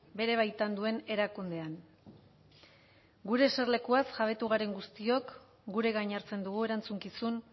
bere baitan duen erakundean gure eserlekuaz jabetu garen guztiok gure gain hartzen dugu erantzukizun